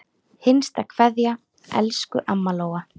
HINSTA KVEÐJA Elsku amma Lóa.